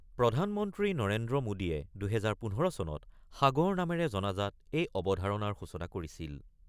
প্ৰধান মন্ত্ৰী নৰেন্দ্ৰ মোডীয়ে ২০১৫ চনত সাগৰ নামেৰে জনাজাত এই অৱধাৰণাৰ সূচনা কৰিছিল।